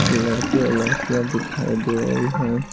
लड़के और लड़कियां दिखाई दे रही हैं।